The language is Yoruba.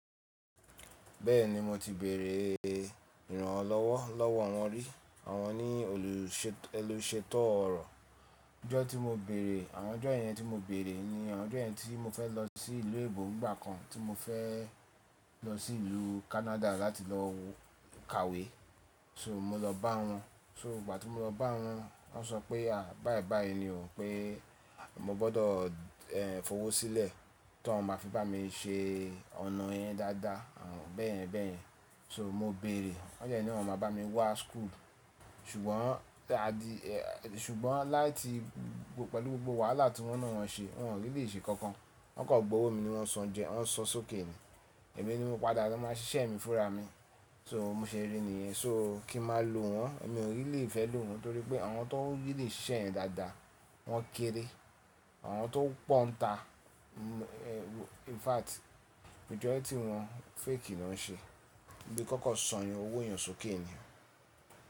Bẹ́ẹ̀ni mo ti bèèrè ee ìrànlọ́wọ́ lọ́wọ́ wọn rí, àwọn ni olúsèt olùsètò ọ̀rọ̀. Ọjọ́ tí mo bèèrè, àwọn ọjọ́ yẹn tí mo bèèrè ni àwọn ọjọ́ yẹn tí mo fẹ́ lọ sí ìlú èbó nígbà kan, tí mo fẹ́ lọ sí ìlú Canada láti lọ kàwé, so mo lọ bá wọn. So ìgbà tí mo lọ bá wọn, wọ́n sọ pé à báyi báyi ni o pé a mo gbọdọ̀, ehn, fọwọ́ sílẹ̀ ta n máa fi bá mi ṣe ọ̀nà yẹn dáadáa, àwọn bẹ́yen bẹ́yen. So mo bèèrè, wọ́n dẹ́ ní awọn máa bá mi wá school, sugbon. Ṣùgbọ́n láti gbogbo pẹ̀lú gbogbo wàhálà tí wọ́n náà wọn ṣe, wọ́n o really se nkankan. Wọ́n kọ̀ gbowó mi ni wọ́n san jẹ, wọ́n san sókè ni. Èmi ni mo padà lọ máa ṣiṣẹ́ mi fúnra mi. So mo ṣe rí niyen, so kí máa lo wọ́n, mi ò really fẹ́ lo wọ́n torí pé àwọn tó really ṣẹ́se yẹn dáadáa wọ́n kéré. Àwọn tó pọ́ ń ta, mm, eh, infact, majority wọ́n fake ni wọ́n ṣe. Bi konko san yẹn owó yàn sókè ni.